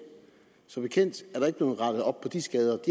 som bekendt er der ikke blevet rettet op de skader de